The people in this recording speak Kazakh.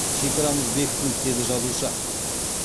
шекарамыз бекітілді деді жазушы